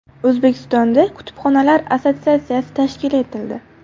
O‘zbekistonda kutubxonalar assotsiatsiyasi tashkil etildi.